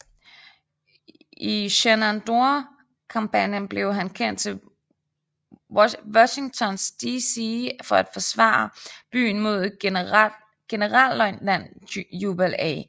I Shenandoah kampagnen blev han sendt til Washington DC for at forsvare byen mod generalløjtnant Jubal A